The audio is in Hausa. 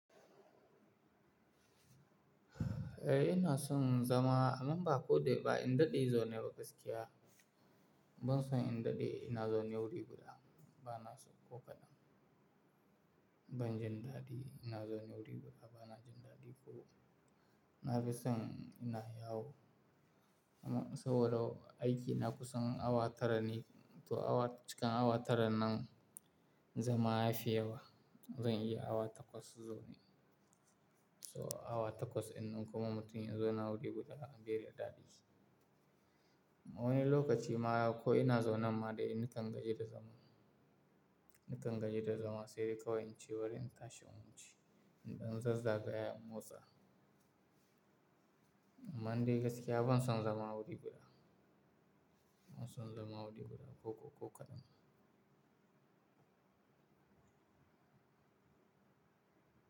Eh ina son zama amma ba ko dai ba ina daɗe zaune ba gaskiya. Ban son in daɗe ina zaune wuri guda bana so ko kaɗan. Ban jin daɗi ina zaune wuri guda bana jin daɗi ko. Na fi son ina yawo. Amma saboda aiki na kusan awa tara ne to awa-- cikin awa tara nan zama ya fi yawa. Zan iya awa takwas zo ne. So awa takwas innan kuma mutum ya zauna wuri guda beda daɗi. A wani lokaci ma ko ina zauna ma dai nakan gaji da zama. Nakan gaji da zama sai dai kawai in ci barin in tashi in wuce. In ɗan zazzagaya in motsa. Amma dai gaskiya ban son zama wuri guda. Ban son zama wuri guda ko ko kaɗan.